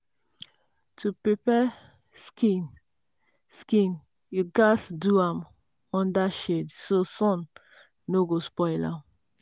to prepare skin skin you gatz do am under shade so sun no go spoil am.